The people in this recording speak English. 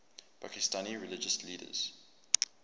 pakistani religious leaders